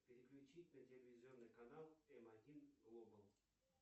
переключить на телевизионный канал эм один глобал